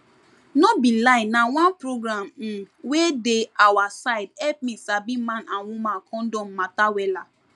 no be lie na oneprogram um wey dey awa side help me sabi man and woman condom matter wella